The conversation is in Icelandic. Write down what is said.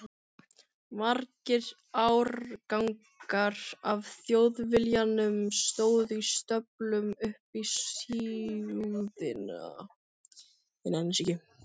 Margir árgangar af Þjóðviljanum stóðu í stöflum upp í súðina.